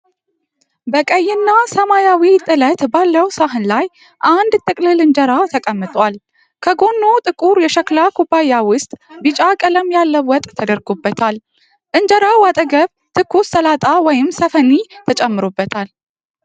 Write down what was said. በቀይና ሰማያዊ ጥለት ባለው ሳህን ላይ አንድ ጥቅልል እንጀራ ተቀምጧል። ከጎኑ ጥቁር የሸክላ ኩባያ ውስጥ ቢጫ ቀለም ያለው ወጥ ተደርጎበታል። እንጀራው አጠገብ ትኩስ ሰላጣ (ሰፊኒ) ተጨምሮበታል።